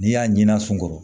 N'i y'a ɲinan sunkɔrɔ